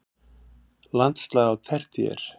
Landslag á tertíer